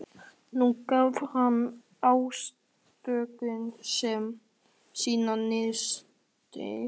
Nú gaf hann ástkonu sinni nistið.